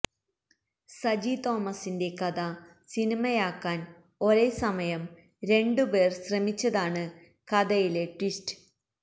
സജി തോമസിന്റെ കഥ സിനിമയാക്കാൻ ഒരേസമയം രണ്ടു പേർ ശ്രമിച്ചതാണ് കഥയിലെ ട്വിസ്റ്റ്